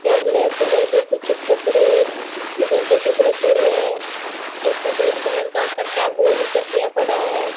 यहां black colour के कुछ कपड़े जैसे कुछ रखे हुए है एक सफेद कलर का कट्टा बोरी कटिया पड़ा है।